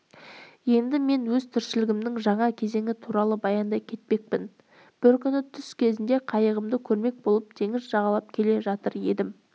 енді мен өз тіршілігімнің жаңа кезеңі туралы баяндай кетпекпін бір күні түс кезінде қайығымды көрмек болып теңіз жағалап келе жатыр едім